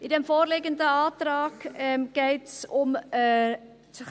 Im vorliegenden Antrag geht es um ...